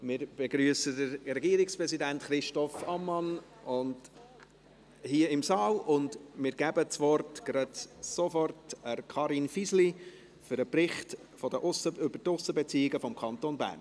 Wir begrüssen den Regierungspräsidenten, Christoph Ammann, hier im Saal und geben das Wort sofort Karin Fisli für den Bericht über die Aussenbeziehungen des Kantons Bern.